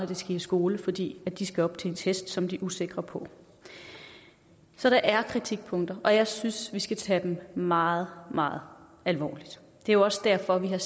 de skal i skole fordi de skal op til en test som de er usikre på så der er kritikpunkter og jeg synes vi skal tage dem meget meget alvorligt det er jo også derfor vi har